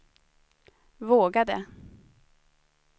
vågade